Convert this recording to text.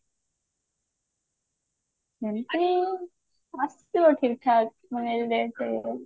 ଏମିତି ଆସିବ ଠିକ ଠାକ ମାନେ ସେଇ range ରେ